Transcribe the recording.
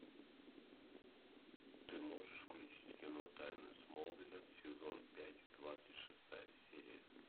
ты можешь включить кино тайны смолвиля сезон пять двадцать шестая серия